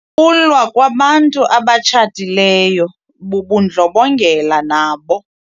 Ukulwa kwabantu abatshatileyo bubundlobongela nabo.